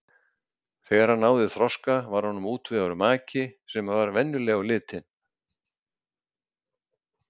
Þegar hann náði þroska var honum útvegaður maki sem var venjuleg á litin.